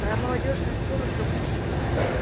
молодёжная сорок доктор плюс